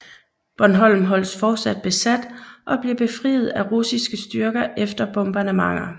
Bornholm holdes fortsat besat og bliver befriet af russiske styrker efter bombardementer